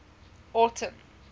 autumn